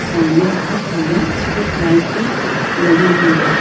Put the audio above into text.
सामने बहोत सारे स्ट्रीट लाइट भी लगी हुई है।